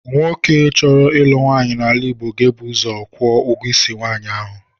Nwoke chọrọ ịlụ nwaanyị n’ala Igbo ga-ebu ụzọ kwụọ ụgwọ isi nwaanyị ahụ.